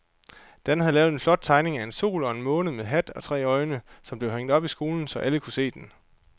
Dan havde lavet en flot tegning af en sol og en måne med hat og tre øjne, som blev hængt op i skolen, så alle kunne se den.